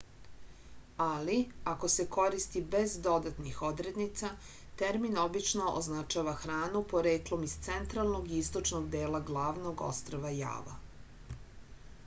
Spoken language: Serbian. ali ako se koristi bez dodatnih odrednica termin obično označava hranu poreklom iz centralnog i istočnog dela glavnog ostrva java